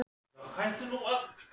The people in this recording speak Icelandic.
Skinku og ananas Hvernig gemsa áttu?